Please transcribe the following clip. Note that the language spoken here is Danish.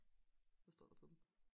hvad står der på dem